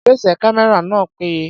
Ìgbésẹ̀ kámẹ́rà náà péye.